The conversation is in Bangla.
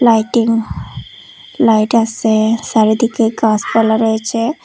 লাইটিং লাইট আসে চারিদিকে গাছপালা রয়েছে।